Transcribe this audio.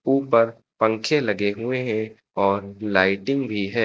ऊपर पंखे लगे हुए हैं और लाइटिंग भी है।